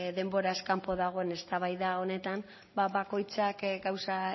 denboraz kanpo dagoen eztabaida honetan bakoitzak gauza